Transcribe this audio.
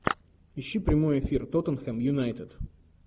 ищи прямой эфир тоттенхэм юнайтед